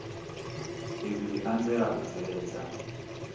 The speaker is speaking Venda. izwi zwi anzela u bveledza